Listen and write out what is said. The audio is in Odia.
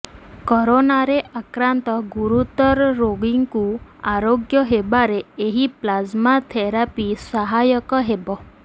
କରୋନାରେ ଆକ୍ରାନ୍ତ ଗୁରୁତର ରୋଗୀଙ୍କୁ ଆରୋଗ୍ୟ ହେବାରେ ଏହି ପ୍ଲାଜମା ଥେରାପି ସହାୟକ ହେବ